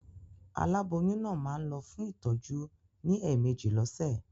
Aláboyún náà máa ń lọ fún ìtọ́jú ní ẹ̀meèjì lọ́sẹ̀.